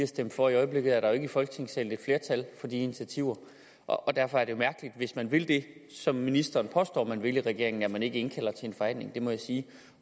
stemte for i øjeblikket er der jo ikke i folketingssalen et flertal for de initiativer og derfor er det mærkeligt hvis man vil det som ministeren påstår man vil i regeringen at man ikke indkalder til en forhandling det må jeg sige